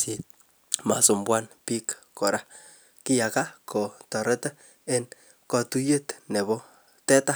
simasumbuan bik kora kiaga kotareti en katuyet nebo teta